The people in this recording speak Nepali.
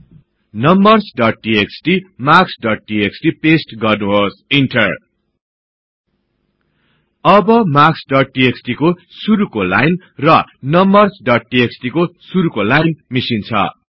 numbers dot TXT marks dot TXT paste गर्नुहोस् इन्टर अब मार्क्स डोट टीएक्सटी को शुरुको लाइन र नम्बर्स डोट टीएक्सटी को शुरुको लाइन मिसिन्छ्